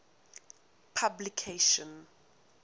publication